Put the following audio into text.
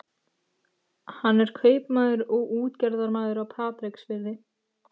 Hann er kaupmaður og útgerðarmaður á Patreksfirði.